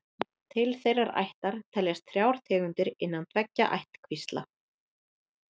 Til þeirrar ættar teljast þrjár tegundir innan tveggja ættkvísla.